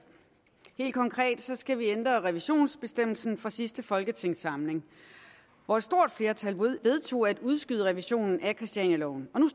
helt konkret skal vi ændre revisionsbestemmelsen fra sidste folketingssamling hvor et stort flertal vedtog at udskyde revisionen af christianialoven